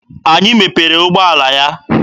Anyị mepere ụgbọala ya.